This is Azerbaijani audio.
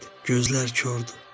"Gözlər kordur.